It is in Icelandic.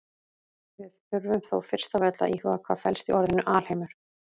Við þurfum þó fyrst af öllu að íhuga hvað felst í orðinu alheimur.